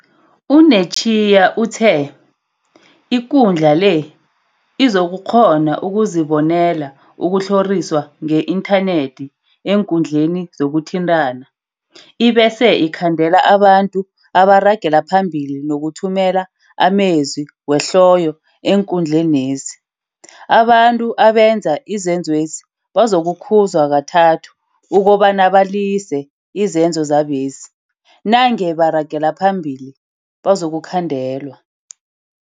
U-Netshiya utheIkundla le, izokukghona ukuzibonela ukutlhoriswa nge-inthanethi eenkundleni zokuthintana, ibese ikhandela abantu abaragela phambili nokuthumela amezwi wehloyo eenkundlenezi. Abantu abenza izenzwesi bazokukhuzwa kathathu ukobana balise izenzo zabezi, nange baragela phambili, bazokukhandelwa.